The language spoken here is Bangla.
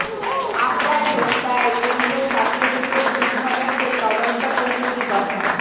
আবরার হত্যায় কেন্দ্রীয় ছাত্রলীগের দুই সদস্যের তদন্ত কমিটি গঠন